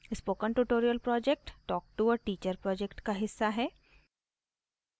spoken tutorial project talk to a teacher project का हिस्सा है